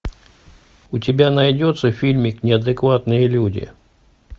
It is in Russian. у тебя найдется фильмик неадекватные люди